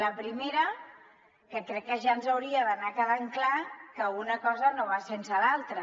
la primera que crec que ja ens hauria d’anar quedant clar que una cosa no va sense l’altra